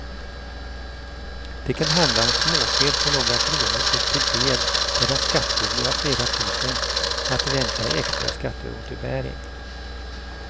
Det kan handla om småfel på några kronor upp till fel där den skattskyldige har flera tusen att vänta i extra skatteåterbäring.